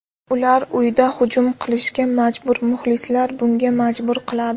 Ular uyda hujum qilishga majbur, muxlislar bunga majbur qiladi.